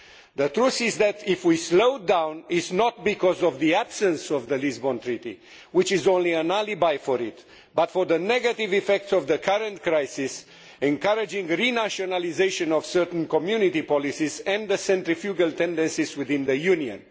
The truth is that if we slow down, it is not because of the absence of the Lisbon Treaty, which is only an alibi for it, but because of the negative effects of the current crisis, encouraging renationalisation of certain Community policies and the centrifugal tendencies within the Union.